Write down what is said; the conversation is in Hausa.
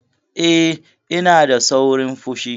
Eh, ina da saurin fushi.